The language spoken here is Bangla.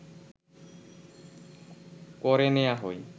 করে নেয়া হয়